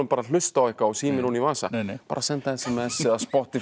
hlusta á eitthvað og síminn ofan í vasa senda s m s og Spotify